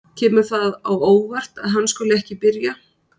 Kemur það á óvart að hann skuli ekki byrja?